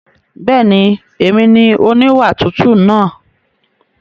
Bẹ́ẹ̀ni, èmi ni oníwà tútù náà.